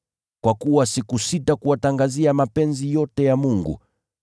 Kwa kuwa sikusita kuwatangazia mapenzi yote ya Mungu.